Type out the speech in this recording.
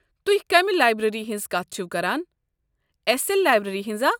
تُہۍ كمہِ لایبریری ہٕنٛز كتھ چھِوٕ كران ، اٮ۪س اٮ۪ل لایبریٚری ہٕنٛز ہا؟